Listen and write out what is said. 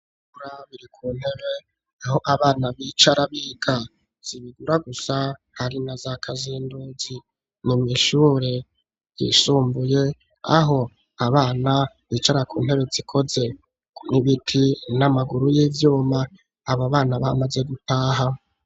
Ibigura biri ku ntebe aho abana b'icara bika zibigura gusa hari na za kazindugi ni mw'ishure yisumbuye aho abana bicara ku ntebe ikoze n'ibiti n'amaguru y'ivyuma aba bana b'amaze gutaha.